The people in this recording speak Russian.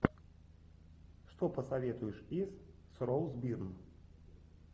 что посоветуешь из с роуз бирн